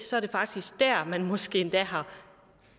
så er det faktisk dér man måske endda har